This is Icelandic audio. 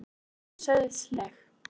spyr ég sauðsleg.